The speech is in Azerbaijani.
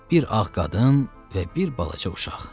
Bir ağ qadın və bir balaca uşaq.